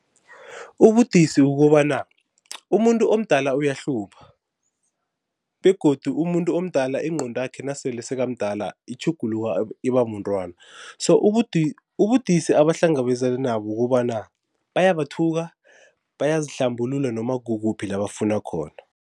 Ubudisi kukobana umuntu omdala uyahlupha begodu umuntu omdala ingqondo yakhe nasele sekamdala itjhuguluka iba mntwana. So ubudisi abahlangabezana nabo kukobana bayabathuka, bayazihlambulula noma kukuphi la bafuna khona.